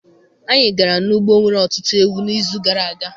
Anyị gara n'ugbo nwere ọtụtụ ewu n'izu gara aga.